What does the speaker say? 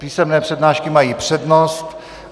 Písemné přihlášky mají přednost.